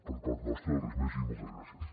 per part nostra res més i moltes gràcies